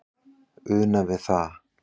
una við það